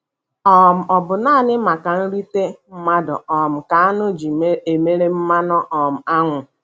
um Ọ bụ naanị maka nrite mmadụ um ka áṅụ ji emere mmanụ um ánwụ.